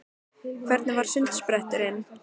Hvernig var sundspretturinn?